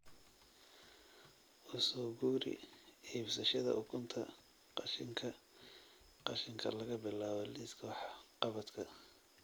U soo guuri iibsashada ukunta qashinka qashinka laga bilaabo liiska wax-qabadka